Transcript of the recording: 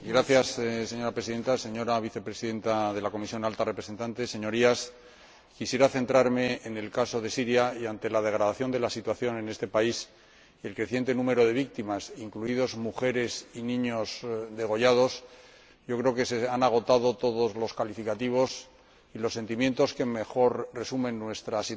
Señora Presidenta, señora Vicepresidenta de la Comisión Alta Representante, Señorías, quisiera centrarme en el caso de Siria y, ante la degradación de la situación en este país y el creciente número de víctimas —incluidos mujeres y niños degollados—, creo que se han agotado todos los calificativos y que los sentimientos que mejor resumen nuestra situación